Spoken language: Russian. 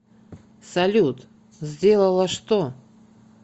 салют сделала что